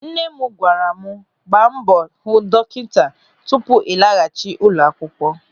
Nne m gwara m, "Gbaa mbọ hụ dọkịta tupu ị laghachi n'ụlọ akwụkwọ".